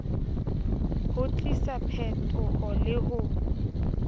ho tlisa phetoho le ho